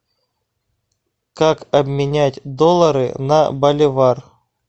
как обменять доллары на боливар